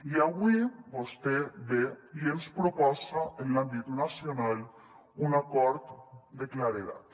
i avui vostè ve i ens proposa en l’àmbit nacional un acord de claredat